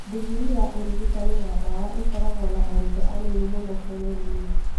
Ndingirii ya ũrigitani na ndawa ikoragwo na arutwo anini mũno bũrũri-inĩ